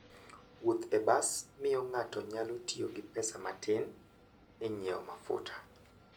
Wuoth e bas miyo ng'ato nyalo tiyo gi pesa matin e nyiewo mafuta.